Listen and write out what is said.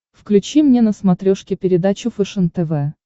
включи мне на смотрешке передачу фэшен тв